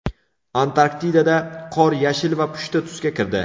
Antarktidada qor yashil va pushti tusga kirdi .